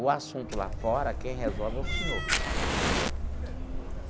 O assunto lá fora, quem resolve é o senhor.